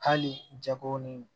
Hali jago ni